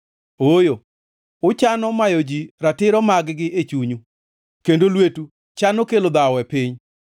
Ooyo, uchano mayo ji ratiro magi e chunyu, kendo lwetu chano kelo dhawo e piny.